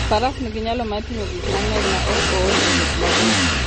Faras nigi nyalo mar ting'o gik mang'eny maok ool e wuoth mabor.